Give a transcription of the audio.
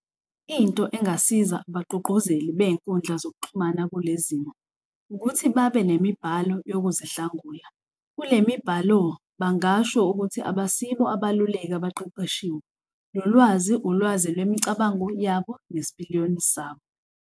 Into engasiza abagqugquzeli bey'nkundla zokuxhumana kule zimo ukuthi babe nemibhalo yokuzihlangula. Kule mibhalo bangasho ukuthi abasibo abaluleki abaqeqeshiwe nolwazi ulwazi lwemicabango yabo nesipiliyoni sabo.